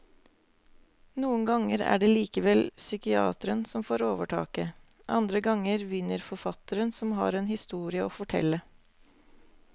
Noen ganger er det likevel psykiateren som får overtaket, andre ganger vinner forfatteren som har en historie å fortelle.